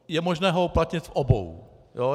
Je možné ho uplatnit v obou.